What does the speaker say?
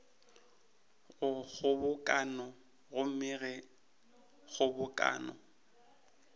go kgobokano gomme ge kgobokano